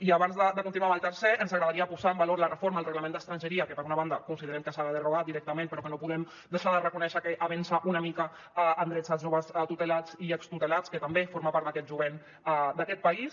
i abans de continuar amb el tercer ens agradaria posar en valor la reforma del reglament d’estrangeria que per una banda considerem que s’ha de derogar directament però que no podem deixar de reconèixer que avença una mica en drets dels joves tutelats i extutelats que també formen part d’aquest jovent d’aquest país